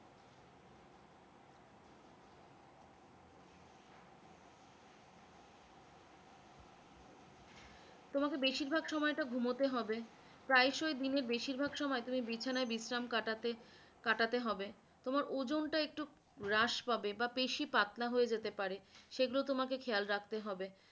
তোমাকে বেশির ভাগ সময়টা ঘুমোতে হবে, প্রায় সই দিনের বেশির ভাগ সময় তুমি বিছানায় বিশ্রাম কাটাতে, কাটাতে হবে, তোমার ওজনটা একটু হ্রাস পাবে বা বেশি পাতলা হয়ে যেতে পারে সেগুলো তোমাকে খেয়াল রাখতে হবে